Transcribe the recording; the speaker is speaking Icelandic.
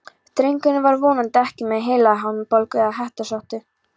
Drengurinn var vonandi ekki með heilahimnubólgu, eða hettusótt.